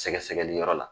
Sɛgɛsɛgɛli yɔrɔ la